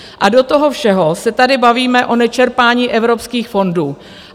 A do toho všeho se tady bavíme o nečerpání evropských fondů.